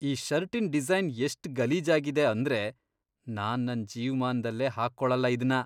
ಈ ಷರ್ಟಿನ್ ಡಿಸೈನ್ ಎಷ್ಟ್ ಗಲೀಜಾಗಿದೆ ಅಂದ್ರೆ ನಾನ್ ನನ್ ಜೀವ್ಮಾನ್ದಲ್ಲೇ ಹಾಕೊಳಲ್ಲ ಇದ್ನ.